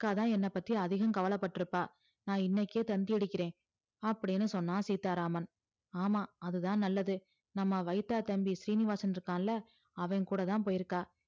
அக்கா தான் என்ன பத்தி அதிகம் கவல பற்றுப்பா நான் இன்னைக்கே தந்தி அடிக்கிற அப்டின்னு சொன்னா சீத்தாராமன் ஆமாம் அது தான் நல்லது நம்ம வைத்தா தம்பி சீனிவாசன் இருக்கான்ல அவன் கூடதான் போயிருக்கா